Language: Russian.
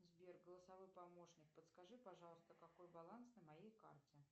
сбер голосовой помощник подскажи пожалуйста какой баланс на моей карте